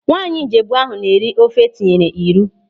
Nwaanyị Ijebu ahụ na-eri ofe etinyere ịrụ.